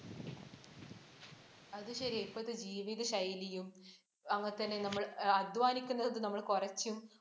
അത് ശരിയാ. ഇപ്പോഴത്തെ ജീവിത ശൈലിയും അങ്ങനെതന്നെ നമ്മള്‍ അധ്വാനിക്കുന്നത് നമ്മള് കൊറച്ചും